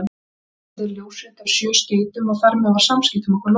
Ég afhenti þér ljósrit af sjö skeytum, og þar með var samskiptum okkar lokið.